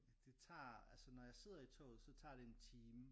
Det tager altså når jeg sidder i toget så tager det en time